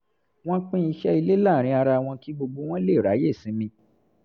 wọ́n pín iṣẹ́ ilé láàárín ara wọn kí gbogbo wọn lè ráyè sinmi